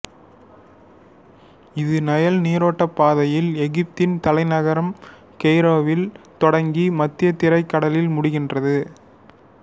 இது நைல் நீரோட்டப் பாதையில் எகிப்தின் தலைநகர் கெய்ரோவில் தொடங்கி மத்தியதரைக் கடலில் முடிகின்றது